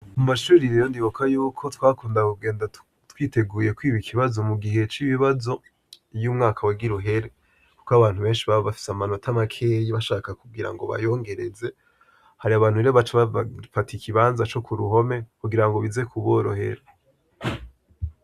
Kumashure rero ndibuka ko twakunda kugenda twiteguye kwiba ikibazo mugihe c'ibibazo iyo umwaka wagira uhere kuko abanyeshure beshi baba bafise amanota make bashaka kugirango bayongereze. Har'abantu rero baca bafata ikibanza co k'uruhome kugirango bize kuborohera.